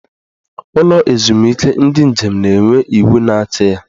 Ụlọ ezumike ndị njem na-enwe iwu na-achị ya.